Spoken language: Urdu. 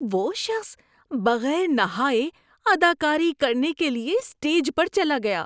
وہ شخص بغیر نہائے اداکاری کرنے کے لیے اسٹیج پر چلا گیا۔